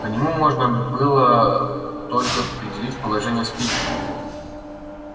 по нему можно было только определить положение спиди